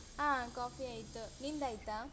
ಆ coffee ಆಯ್ತು ನಿಂದಾಯ್ತ?